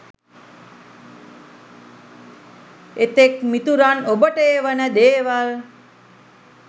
එතෙක් මිතුරන් ඔබට එවන දේවල්